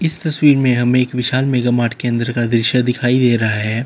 इस तस्वीर में हमें एक विशाल मेगा मार्ट के अंदर का दृश्य दिखाई दे रहा है।